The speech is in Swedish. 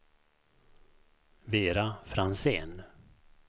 Vera Franzén